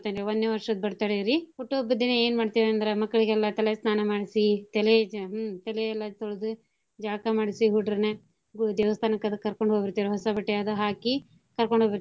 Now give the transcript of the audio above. ವನ್ನೇ ವರ್ಷದ್ birthday ರಿ ಹುಟ್ಟು ಹಬ್ಬದ್ ದಿನಾ ಎನ್ ಮಾಡ್ತಿವ್ ಅಂದ್ರ ಮಕ್ಳಗೆಲ್ಲಾ ತಲೆ ಸ್ನಾನ ಮಡ್ಸಿ ತಲೆ ಹ್ಞೂ ತಲೆ ಎಲ್ಲಾ ತೋಳ್ದೂ ಜಳಕಾ ಮಡ್ಸಿ ಹುಡ್ರ್ನ ಪೂ~ ದೇವಸ್ತಾನಕ್ಕದು ಕರ್ಕೊಂಡ್ ಹೋಗಿರ್ತೇವ್ರಿ ಹೊಸ ಬಟ್ಟೆ ಅದು ಹಾಕಿ ಕರ್ಕೊಂಡ್ ಹೋಗಿರ್ತೇವಿ.